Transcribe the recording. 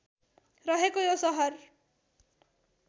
रहेको यो सहर